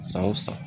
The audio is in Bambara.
San o san